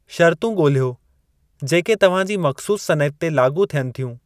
शर्तूं ॻोल्हियो जेके तव्हां जी मख़्सूसु सनइत ते लाॻू थियनि थियूं।